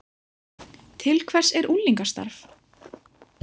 Til hvers er unglingastarf